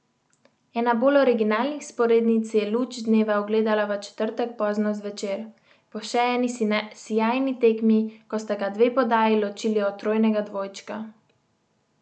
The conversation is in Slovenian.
Ena bolj originalnih vzporednic je luč dneva ugledala v četrtek pozno zvečer, po še eni sijajni tekmi, ko sta ga dve podaji ločili od trojnega dvojčka.